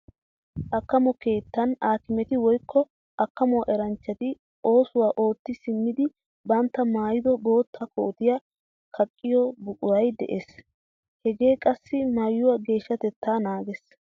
Akkamo keettan aakimeti woykko akkamo eranchchati oosuwa ootti simmidi bantta maayido bootta kootiya kaqqiyo buquray de'ees. Hegee qassi maayuwa geeshshatettaa naagees.